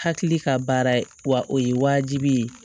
Hakili ka baara ye wa o ye wajibi ye